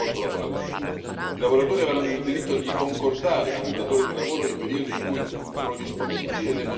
I lavoratori avranno il diritto di concordare con il datore di lavoro i periodi in cui sono disponibili e le modalità di preavviso.